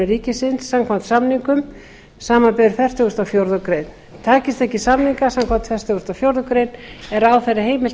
ríkisins samkvæmt samningum samanber fertugustu og fjórðu grein takist ekki samningar samkvæmt fertugustu og fjórðu grein er ráðherra heimilt